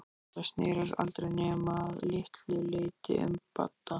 Þetta snerist aldrei nema að litlu leyti um Badda.